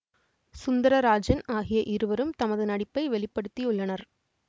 சுந்தரராஜன் ஆகிய இருவரும் தமது நடிப்பை வெளி படுத்தியுள்ளனர்